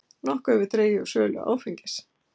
Nokkuð hefur dregið úr sölu áfengis